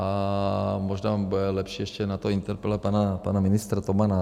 A možná bude lepší ještě na to interpelovat pana ministra Tomana.